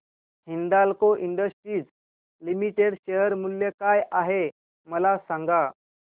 Hindalco industries limited share मूल्य काय आहे मला सांगा